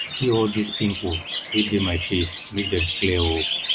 see all dis pimple wey dey my face make dem clear oo